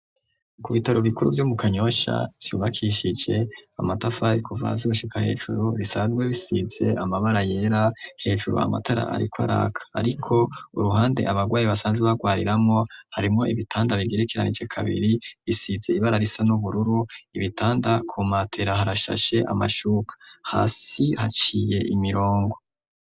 Ku bitaro bikuru vyo mu kanyosha vyubakishije amata fariko va zoshika hejuru risazwe bisize amabara yera hejuru amatara, ariko araka, ariko uruhande abarwayi basanze barwariramo harimo ibitanda bigirikiranije kabiri bisize ibara risa n'ubururu ibitanda ku matera harashashe amashuma hasi haciye imirongo.